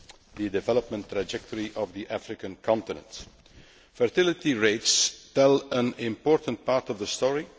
the development trajectory of the African continent. Fertility rates tell an important part of the story